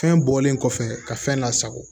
Fɛn bɔlen kɔfɛ ka fɛn lasago